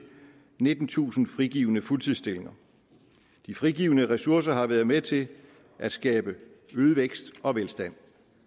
nittentusind frigivne fuldtidsstillinger de frigivne ressourcer har været med til at skabe øget vækst og velstand